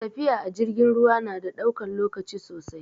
Tafiya a jirgin ruwa na ɗaukan lokaci sosai